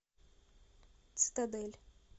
цитадель